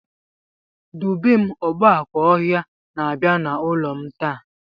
Dubem "Ogbákà ọhịa" na-abia n'ụlọ m taa